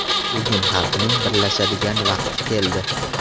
Bugun xalqning birlashadigan vaqti keldi.